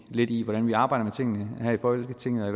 lidt i hvordan vi arbejder med tingene her i folketinget og